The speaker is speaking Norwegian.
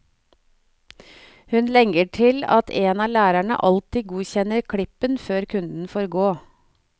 Hun legger til at en av lærerne alltid godkjenner klippen før kunden får gå.